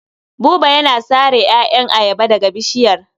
Buba yana sare ƴaƴan ayaba daga bishiyar.